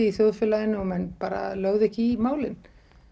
í þjóðfélaginu og menn bara lögðu ekki í málin